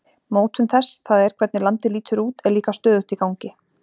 Mótun þess, það er hvernig landið lítur út, er líka stöðugt í gangi.